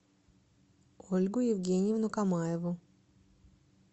ольгу евгеньевну камаеву